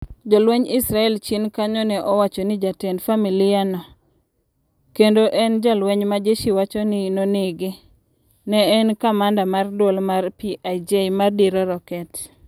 Jolwenj Israel chien kanyo ne wacho ni jatend familia no , kendo en jalweny majeshi wacho ni nonege, ne en kamanda mar duol mar PIJ ma diro roket.